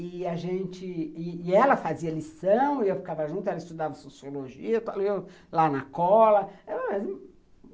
E a gente e ela fazia lição, e eu ficava junto, ela estudava sociologia, eu estava lá na cola